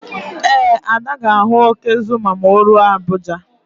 Ee, Ada ga-ahụ óké Zuma ma o ruo Abuja.